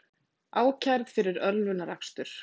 Ákærð fyrir ölvunarakstur